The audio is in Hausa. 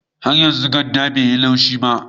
Har yanzu ganda bai yi laushi ba